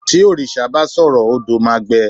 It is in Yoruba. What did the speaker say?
ti òrìṣà ba sọrọ, odo ma gbe